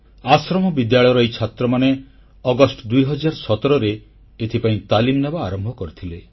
ଆଶ୍ରମ ବିଦ୍ୟାଳୟର ଏହି ଛାତ୍ରମାନେ ଅଗଷ୍ଟ 2017ରେ ଏଥିପାଇଁ ତାଲିମ ନେବା ଆରମ୍ଭ କରିଥିଲେ